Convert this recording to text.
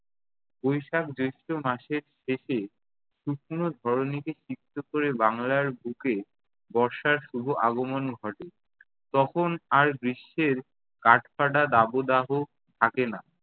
বৈশাখ জ্যৈষ্ঠ মাসের শেষে শুকনো ধরণীকে সিক্ত ক'রে বাংলার বুকে বর্ষার শুভ আগমন ঘটে। তখন আর গ্রীষ্মের কাঠ-ফাটা দাবদাহ থাকে না।